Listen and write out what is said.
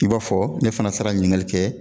I b'a fɔ ne fana sera ɲininkali kɛ.